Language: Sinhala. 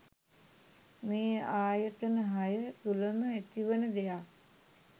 මේ ආයතන හය තුළම ඇතිවන දෙයක්.